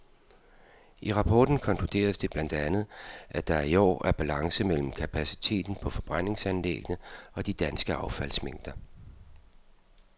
I rapporten konkluderes det blandt andet, at der i år er balance mellem kapaciteten på forbrændingsanlæggene og de danske affaldsmængder.